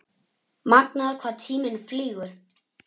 Magnað hvað tíminn flýgur?